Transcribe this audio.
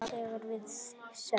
Að ég hafi átt?